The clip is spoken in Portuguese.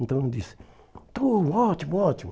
Então, ele disse, então, ótimo, ótimo.